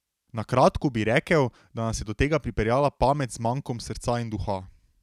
Na kratko bi rekel, da nas je do tega pripeljala pamet z mankom srca in duha.